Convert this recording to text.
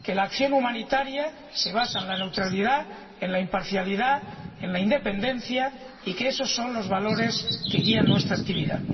Que la acción humanitaria se basa en la neutralidad, en la imparcialidad, en la independencia, y que esos son los valores que guían nuestra actividad.